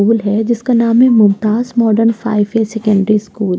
उल है जिसका नाम है मुमताज मॉडर्न सेकेंडरी स्कूल ।